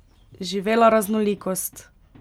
Živela raznolikost!